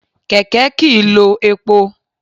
Kèkè kì í lo epo